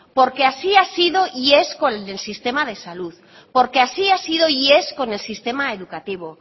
porque así ha sido y es con el del sistema de salud porque así ha sido y es con el sistema educativo